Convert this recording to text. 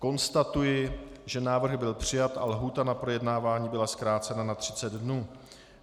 Konstatuji, že návrh byl přijat a lhůta na projednávání byla zkrácena na 30 dnů.